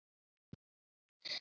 Þá hef ég nógan tíma.